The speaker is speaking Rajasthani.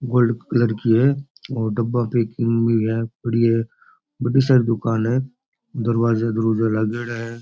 गोल्ड कलर की है और डब्बा की पैकिंग है पड़ी है बढ़ी सारी दुकान है दरवाजा दरवाजा लागयोड़ा है।